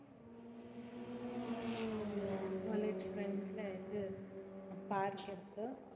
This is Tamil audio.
college front ல இது park இருக்கு